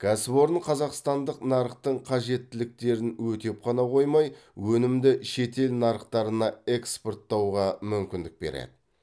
кәсіпорын қазақстандық нарықтың қажеттіліктерін өтеп қана қоймай өнімді шетел нарықтарына экспорттауға мүмкіндік береді